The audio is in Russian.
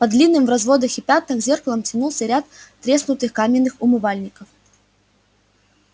под длинным в разводах и пятнах зеркалом тянулся ряд треснутых каменных умывальников